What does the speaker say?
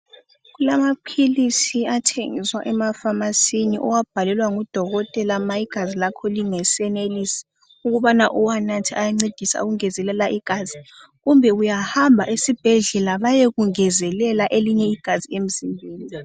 Kulamaphilisi athengiswa emafamasini owabhalelwa ngudokotela nxa igazi lakho lingesenelisi ukubana uwanathe ayangezelela igazi kumbe uyahamba esibhedlela beyekungezelela elinye igazi emzimbeni.